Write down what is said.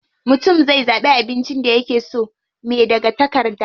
Mutum zai zaɓi abincin da yake so me daga takarda.